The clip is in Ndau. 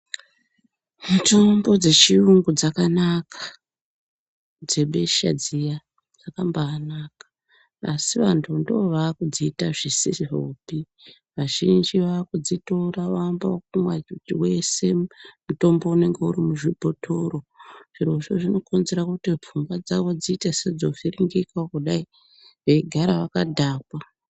Mutombo dzechiyungu dzakanaka dzebesha dziya dzakabanaka asi vantu ndovakidziita zvisizvopi, vazhinji vakudzitora voamba ekumwa muchuchu wese mutombo unenge urimuzvibhotoro zvirozvo zvinokonzerwa kuti pfungwa dzawo dziite sedzovhiringika kudai veigara vakadhakwa.